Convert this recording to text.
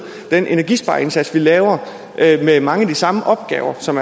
den energispareindsats vi laver med mange af de samme opgaver som